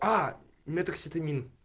а метоксетамин